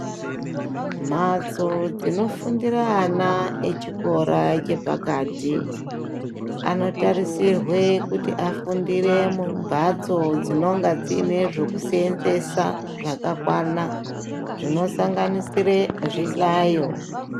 Mhatso dzinofundira ana echikora chepakati, anotarisirwe kuti afundire mumhatso dzinenge dziine zvekuseenzesa zvakakwana, zvinosanganisire zvihlayo.